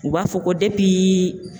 U b'a fɔ ko